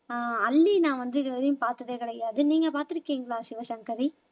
அஹ் அல்லி நான் வந்து இதுவரையும் பார்த்ததே கிடையாது நீங்க பார்த்திருக்கீங்களா சிவசங்கரி